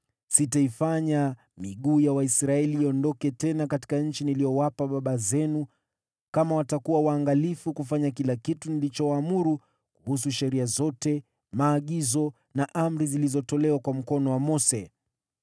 Sitaifanya tena miguu ya Waisraeli iondoke tena katika nchi niliyowapa baba zenu, ikiwa watakuwa waangalifu kufanya kila kitu nilichowaamuru kuhusu sheria zote, maagizo na amri zilizotolewa kwa mkono wa Mose.”